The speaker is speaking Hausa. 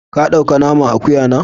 Ka dau ka naman Akuya na?